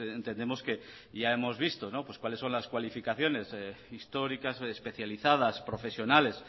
pues entendemos que ya hemos visto cuáles son las calificaciones históricas especializadas profesionales